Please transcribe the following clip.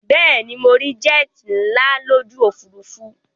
Bẹ́ẹ̀ ni, mo rí jet nàá lójú òfurufú